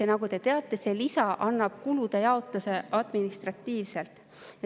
Ja nagu te teate, see lisa annab kulude jaotuse administratiivselt.